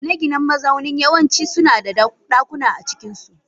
Gine-ginen mazaunin yawanci suna da dakuna a cikinsu.